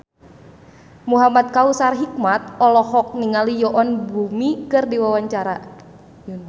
Muhamad Kautsar Hikmat olohok ningali Yoon Bomi keur diwawancara